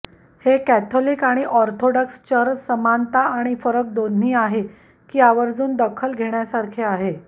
हे कॅथोलिक आणि Orthodox church समानता आणि फरक दोन्ही आहे की आवर्जून दखल घेण्यासारखे आहे